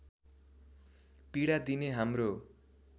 पीडा दिने हाम्रो